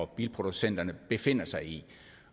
bilproducenterne befinder sig i